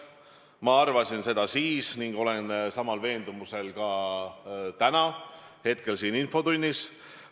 Ma arvasin seda siis ning olen samal veendumusel ka täna, hetkel siin infotunnis.